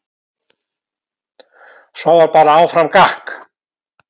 Svo var bara áfram gakk.